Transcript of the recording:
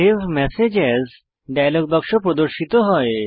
save message as dialog বাক্স প্রদর্শিত হয়